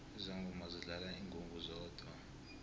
izangoma zidlala ingungu zodwa